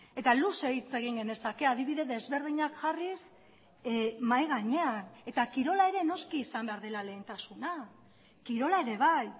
eta luze hitz egin genezake adibide desberdinak jarriz mahai gainean eta kirola ere noski izan behar dela lehentasuna kirola ere bai